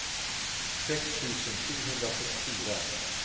sex tusen sjuhundrasjuttiofyra